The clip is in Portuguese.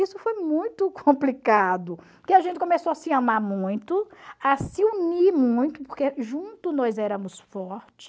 Isso foi muito complicado, porque a gente começou a se amar muito, a se unir muito, porque junto nós éramos fortes,